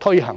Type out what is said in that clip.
推行。